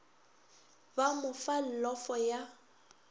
ba mo fa llofo ya